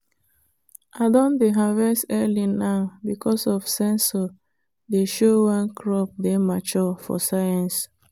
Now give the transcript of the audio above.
i don dey harvest early now because of sensor dey show when crop dey mature for science.